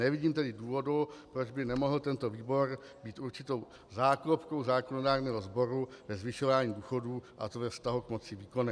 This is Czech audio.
Nevidím tedy důvodu, proč by nemohl tento výbor být určitou záklopkou zákonodárného sboru ve zvyšování důchodů, a to ve vztahu k moci výkonné.